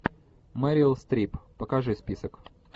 мерил стрип покажи список